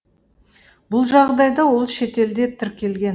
бұл жағдайда ол шетелде тіркелген